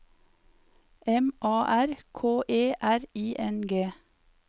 M A R K E R I N G